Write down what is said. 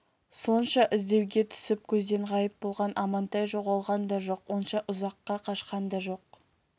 сонша іздеуге түсіп көзден ғайып болған амантай жоғалған да жоқ онша ұзаққа қашқан да жоқ